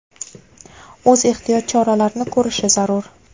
o‘z ehtiyot choralarini ko‘rishi zarur.